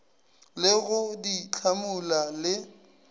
le go di hlamula le